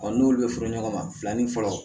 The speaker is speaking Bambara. n'olu bɛ furu ɲɔgɔn ma filanin fɔlɔ